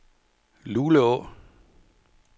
Luleå